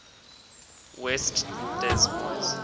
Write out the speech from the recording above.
west des moines